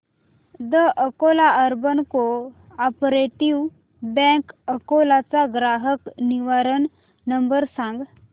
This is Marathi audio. the Akola urban cooperative bank Akola चा ग्राहक निवारण नंबर सांग